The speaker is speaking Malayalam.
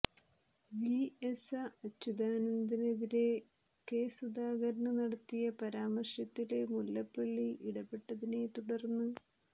വി എസ അച്ചുതാനന്ദനെതിരെ കെ സുധാകരന് നടത്തിയ പരാമര്ശത്തില് മുല്ലപ്പള്ളി ഇട പെട്ടതിനെ തുടര്ന്ന്